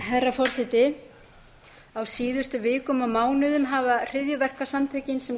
forseti á síðustu vikum og mánuðum hafa hryðjuverkasamtökin sem